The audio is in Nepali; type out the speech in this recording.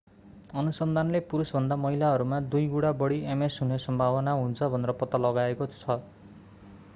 अनुसन्धानले पुरुषभन्दा महिलाहरूमा दुई गुणा बढी ms हुने सम्भावना हुन्छ भनेर पत्ता लगाएको छ